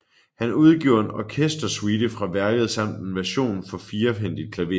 Han udgiver en orkestersuite fra værket samt en version for firehændigt klaver